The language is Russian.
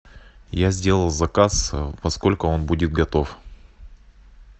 я сделал заказ во сколько он будет готов